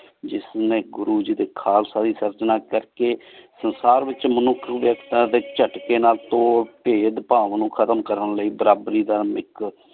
ਜਿਸ ਨੀ ਗੁਰੂ ਗੀ ਡੀ ਖਾਲਸਾ ਦੀ ਸਰ੍ਚਨਾ ਕਰ ਕ ਸੰਸਾਰ ਵਿਚ ਮਨੁਖ ਡੀ ਵੇਯ੍ਕ੍ਤਾਂ ਡੀ ਝਾਤ੍ਕ੍ਯ ਨਾਲ ਤੋਰ ਭੇਦ ਭਾਓ ਖਤਮ ਕਰਨ ਲੈ ਬਰਾਬਰੀ ਦਾ ਧਾਰਮਿਕ